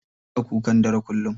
Baya kukan dare kullum.